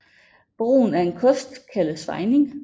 Brugen af en kost kaldes fejning